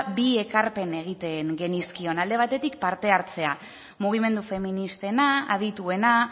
bi ekarpen egiten genizkion alde batetik parte hartzea mugimendu feministena adituena